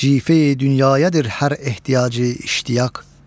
Cife-i dünyayədir hər ehtiyacı iştiyaq.